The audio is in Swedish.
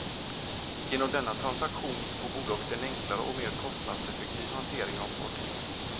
Genom denna transaktion får bolaget en enklare och mer kostnadseffektiv hantering av fartygen.